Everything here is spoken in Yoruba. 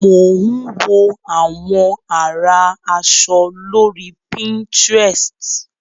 Mò ń wo àwọn àrà aṣọ lórí pinterest.